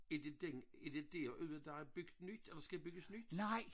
Er det den er det derude der er bygget nyt eller skal bygges nyt?